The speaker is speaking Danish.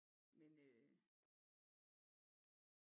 Men øh